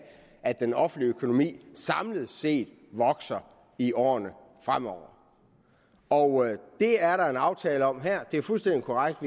at den offentlige økonomi samlet set vokser i årene fremover og det er der en aftale om her det er fuldstændig korrekt